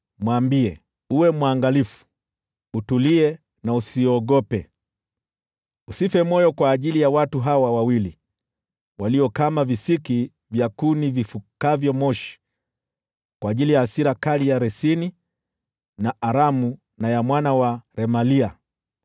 Mwambie, ‘Uwe mwangalifu, utulie na usiogope. Usife moyo kwa ajili ya watu hawa wawili walio kama visiki vya kuni vifukavyo moshi, kwa ajili ya hasira kali ya Resini na Aramu na ya mwana wa Remalia.